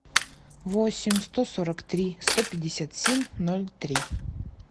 восемь сто сорок три сто пятьдесят семь ноль три